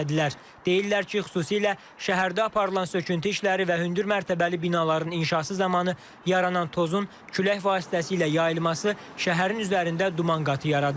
Deyirlər ki, xüsusilə şəhərdə aparılan söküntü işləri və hündür mərtəbəli binaların inşası zamanı yaranan tozun külək vasitəsilə yayılması şəhərin üzərində duman qatı yaradır.